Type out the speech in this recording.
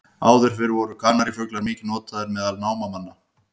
Áður fyrr voru kanarífuglar mikið notaðir meðal námamanna.